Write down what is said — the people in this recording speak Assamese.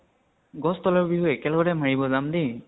গছ তলৰ বিহু একে লগতে মাৰিব যাম দেই।